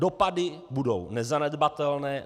Dopady budou nezanedbatelné.